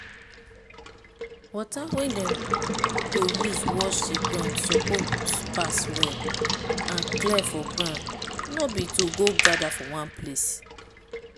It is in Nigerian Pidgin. water wey dem go use wash the ground suppose pass well and clear for ground no be to go gather for one place.